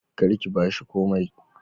Kar ki bashi komai"